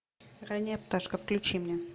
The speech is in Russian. ранняя пташка включи мне